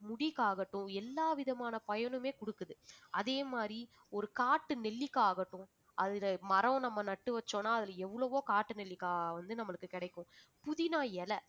முடிக்காகட்டும் எல்லாவிதமான பயனுமே கொடுக்குது அதே மாதிரி ஒரு காட்டு நெல்லிக்காய் ஆகட்டும் அதுல மரம் நம்ம நட்டு வச்சோம்னா அதுல எவ்வளவோ காட்டு நெல்லிக்காய் வந்து நம்மளுக்கு கிடைக்கும் புதினா இலை